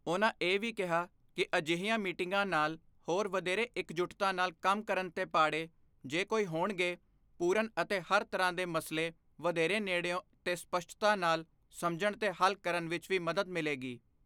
ਉਨ੍ਹਾਂ ਇਹ ਵੀ ਕਿਹਾ ਕਿ ਅਜਿਹੀਆਂ ਮੀਟਿੰਗਾਂ ਨਾਲ ਹੋਰ ਵਧੇਰੇ ਇਕਜੁੱਟਤਾ ਨਾਲ ਕੰਮ ਕਰਨ ਤੇ ਪਾੜੇ, ਜੇ ਕੋਈ ਹੋਣਗੇ, ਪੂਰਨ ਅਤੇ ਹਰ ਤਰ੍ਹਾਂ ਦੇ ਮਸਲੇ ਵਧੇਰੇ ਨੇੜਿਓਂ ਤੇ ਸਪੱਸ਼ਟਤਾ ਨਾਲ ਸਮਝਣ ਤੇ ਹੱਲ ਕਰਨ ਵਿੱਚ ਵੀ ਮਦਦ ਮਿਲੇਗੀ।